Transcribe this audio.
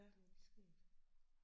Det er lidt skægt